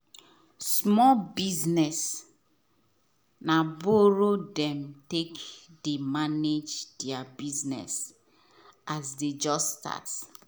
small business na borrow them take dey manage there business as them just start.